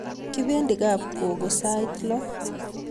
Kipendi kap gogo sait lo